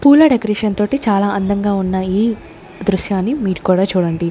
పూల డెకరేషన్ తోటి చాలా అందంగా ఉన్నాయి దృశ్యాన్ని మీరు కూడా చూడండి.